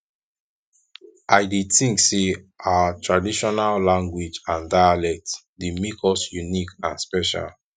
i dey think say our traditional language and dialect dey make us unique and special